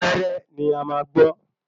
Wẹ́rẹ́ ni a maá gbọ́